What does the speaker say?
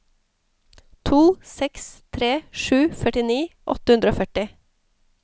to seks tre sju førtini åtte hundre og førti